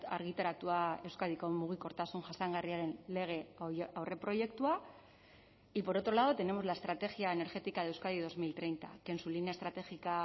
argitaratua euskadiko mugikortasun jasangarriaren lege aurreproiektua y por otro lado tenemos la estrategia energética de euskadi dos mil treinta que en su línea estratégica